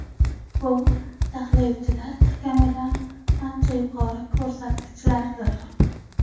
Bu tahlilchilar kutganidan ancha yuqori ko‘rsatkichlardir.